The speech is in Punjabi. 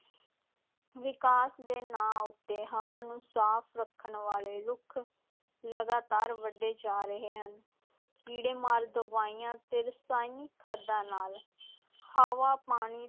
ਵਿਕਾਸ ਦੇ ਨਾਂ ਉੱਤੇ ਹਵਾ ਨੂੰ ਸਾਫ਼ ਰੱਖਣ ਵਾਲੇ ਰੁੱਖ ਲਗਾਤਾਰ ਵੱਢੇ ਜਾ ਰਹੇ ਹਨ, ਕੀੜੇ ਮਾਰ ਦਵਾਈਆਂ ਤੇ ਰਸਾਇਣਿਕ ਖਾਦਾਂ ਨਾਲ ਹਵਾ, ਪਾਣੀ,